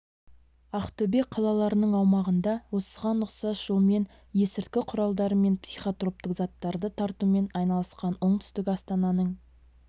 ақтөбе қалаларының аумағында осыған ұқсас жолмен есірткі құралдары мен психотроптық заттарды таратумен айналысқан оңтүстік астананың